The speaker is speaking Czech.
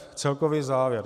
F. Celkový závěr.